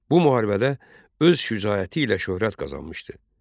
Bu müharibədə öz şücaəti ilə şöhrət qazanmışdı.